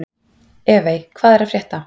Evey, hvað er að frétta?